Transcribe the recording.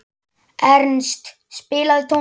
Ernst, spilaðu tónlist.